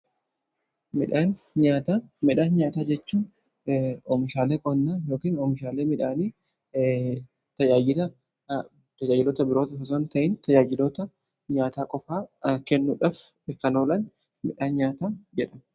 Midhaan nyaataa jechuun oomishaalee qonnaa ykin oomishaalee midhaanii tajaajilota biroo osoo ta'iin taaayilota nyaataa qofaa kennuudhaf ikkanoolan midhaan nyaataa jedhama.